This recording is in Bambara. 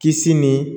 Kisi ni